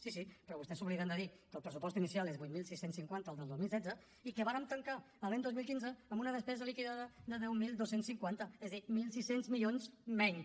sí sí però vostès s’obliden de dir que el pressupost inicial és vuit mil sis cents i cinquanta el del dos mil quinze i que vàrem tancar l’any dos mil quinze amb una despesa liquidada de deu mil dos cents i cinquanta és a dir mil sis cents milions menys